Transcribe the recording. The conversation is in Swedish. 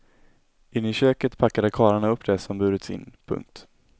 Inne i köket packade karlarna upp det som burits in. punkt